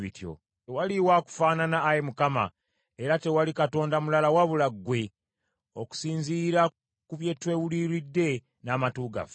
“Tewaliwo akufaanana, Ayi Mukama , era tewali Katonda mulala wabula ggwe, okusinziira ku bye twewuliridde n’amatu gaffe.